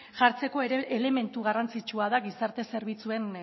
jartzeko elementu garrantzitsua da gizarte zerbitzuen